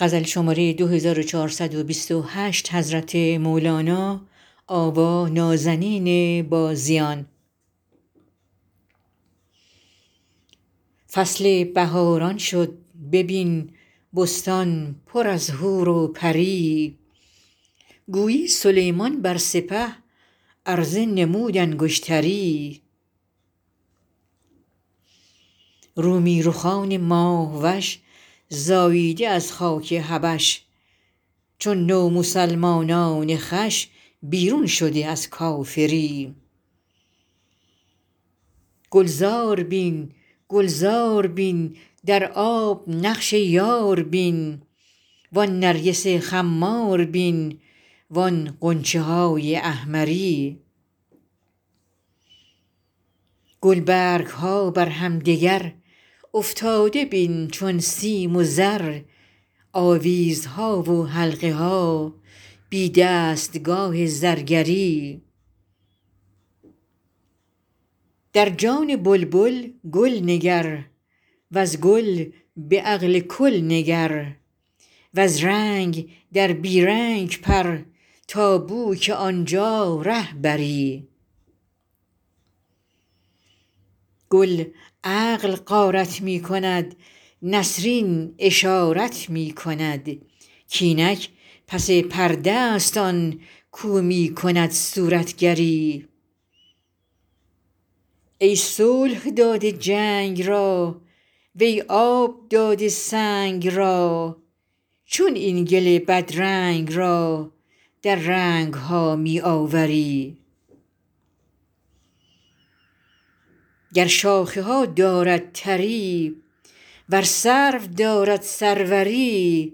فصل بهاران شد ببین بستان پر از حور و پری گویی سلیمان بر سپه عرضه نمود انگشتری رومی رخان ماه وش زاییده از خاک حبش چون نومسلمانان خوش بیرون شده از کافری گلزار بین گلزار بین در آب نقش یار بین و آن نرگس خمار بین و آن غنچه های احمری گلبرگ ها بر همدگر افتاده بین چون سیم و زر آویزها و حلقه ها بی دستگاه زرگری در جان بلبل گل نگر وز گل به عقل کل نگر وز رنگ در بی رنگ پر تا بوک آن جا ره بری گل عقل غارت می کند نسرین اشارت می کند کاینک پس پرده است آن کاو می کند صورتگری ای صلح داده جنگ را وی آب داده سنگ را چون این گل بدرنگ را در رنگ ها می آوری گر شاخه ها دارد تری ور سرو دارد سروری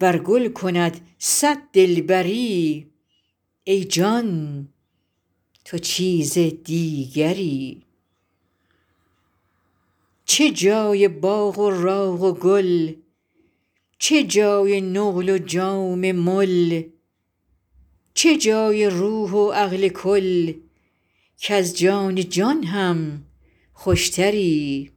ور گل کند صد دلبری ای جان تو چیزی دیگری چه جای باغ و راغ و گل چه جای نقل و جام مل چه جای روح و عقل کل کز جان جان هم خوشتری